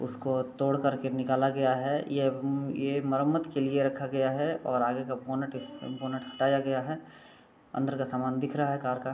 उसको तोड़ कर के निकाला गया है। ये अम ये मरम्मत के लिए रखा गया है और आगे का बोनट इस बोनट हटाया गया है। अन्दर का सामान दिख रहा है कार का।